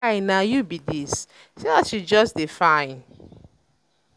guy na um you be dis? see as you just dey um fine